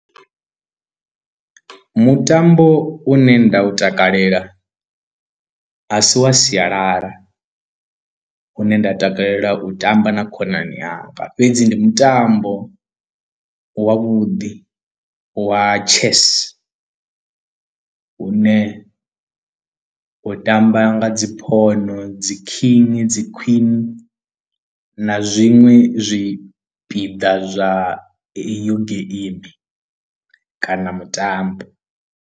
Mutambo une nda u takalela asi wa sialala une nda takalela u tamba na khonani yanga fhedzi ndi mutambo wavhuḓi wa chess hune u tamba nga dzi phono dzi king, dzi queen na zwiṅwe zwipiḓa zwa iyo geimi kana mutambo.